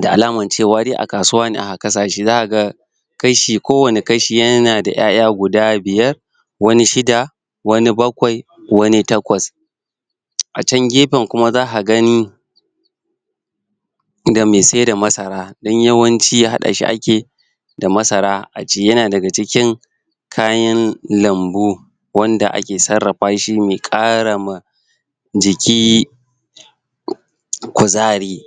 da alaman cewa de a kasuwa zaka ga kashi, ko wani kashi yana da iyaiya guda biyar wani shida, wani bakwai wani takwas A can gefen kuma zak gani idan me sayar da masara don yawanci hada shi ake yi da masara a yana daga cikin kayan lambu wanda ake tsarrafa shi, me kara ma jiki kuzari